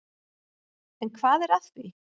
En hvað er að því?